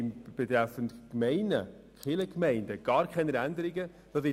Wir haben betreffend die Kirchgemeinden gar keine Änderungen vorgesehen.